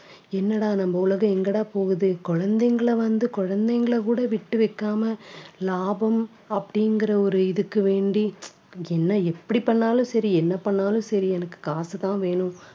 என்னடா நம்ம உலகம் எங்கடா போகுது குழந்தைங்களை வந்து குழந்தைங்களை கூட விட்டு வைக்காம லாபம் அப்படிங்கிற ஒரு இதுக்கு வேண்டி என்ன எப்படி பண்ணாலும் சரி என்ன பண்ணாலும் சரி எனக்கு காசுதான் வேணும்.